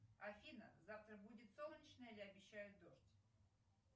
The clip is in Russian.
афина завтра будет солнечно или обещают дождь